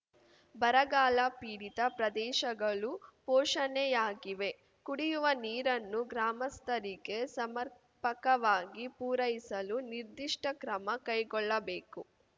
ಬರಗಾಲಪೀಡಿತ ಪ್ರದೇಶಗಳು ಘೋಷಣೆಯಾಗಿವೆ ಕುಡಿಯುವ ನೀರನ್ನು ಗ್ರಾಮಸ್ಥರಿಗೆ ಸಮರ್ಪಪಕವಾಗಿ ಪೂರೈಸಲು ನಿರ್ದಿಷ್ಟಕ್ರಮ ಕೈಗೊಳ್ಳಬೇಕು